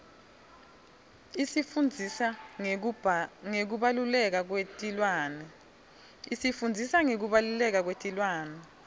isifundzisa ngekubaluleka kwetilwane